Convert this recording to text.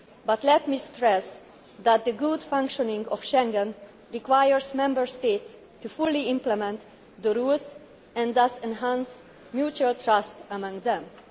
But let me stress that the good functioning of Schengen requires Member States to fully implement the rules and thus enhance mutual trust among themselves.